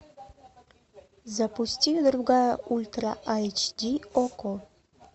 запусти другая ультра айч ди окко